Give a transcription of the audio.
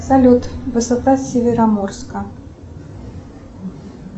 салют высота североморска